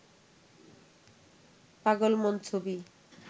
পাগল মন ছবি